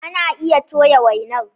Ana iya toya wainar.